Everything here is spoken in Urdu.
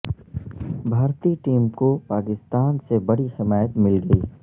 بھارتی ٹیم کو پاکستان سے بڑی حمایت مل گئی